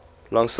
long civil war